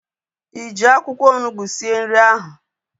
Ị ji akwụkwọ onugbu sie nri ahu?